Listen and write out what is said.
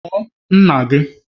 Kpọọ nna gị!